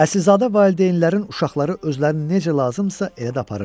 Əsilzadə valideynlərin uşaqları özlərini necə lazımdırsa elə də aparırdılar.